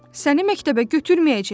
Səni məktəbə götürməyəcəklər.